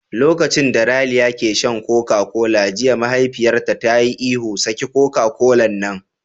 Lokacin da Raliya ke shan Koka kola jiya mahaifiyarta ta yi ihu "Saki Koka kolan nan!"